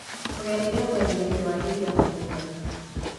Tũgereire mwena-inĩ wa iria mũthenya